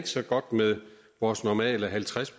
så godt med vores normale halvtreds